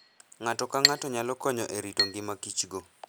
Ng'ato ka ng'ato nyalo konyo e rito ngimakichgo.